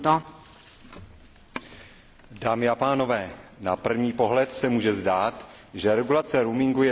Dámy a pánové, na první pohled se může zdát, že regulace roamingu je dobrá věc, která bezvadně funguje.